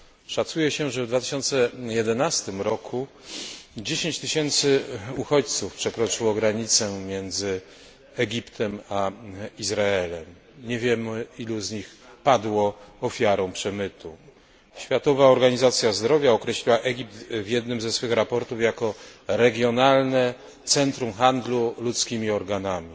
Szacuje się, że w 2011 roku 10 tysięcy uchodźców przekroczyło granicę między Egiptem a Izraelem, nie wiemy ilu z nich padło ofiarą przemytu. Światowa Organizacja Zdrowia określiła Egipt w jednym ze swych raportów jako regionalne centrum handlu ludzkimi organami.